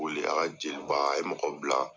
Boli a ka jeliba a ye mɔgɔw bila.